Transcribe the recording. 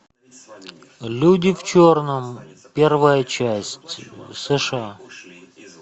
люди в черном первая часть сша